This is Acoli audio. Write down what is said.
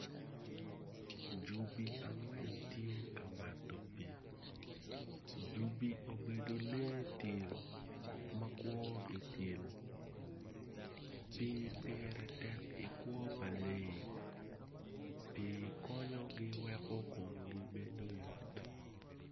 Jubi angwen tye ka mato pii jubi obedo lee tim ma kwo i til pii pire tek i kwo pa leyi pii konyogi weko komgi bedo yot.